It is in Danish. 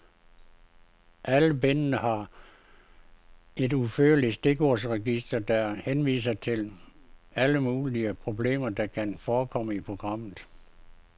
Alle bindene har et udførligt stikordsregister, der henviser til alle mulige problemer, der kan forekomme i programmet.